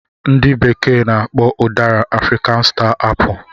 Ndị bekee na-akpọ udara 'African star apple '